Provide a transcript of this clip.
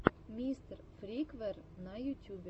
мистер фриквер на ютюбе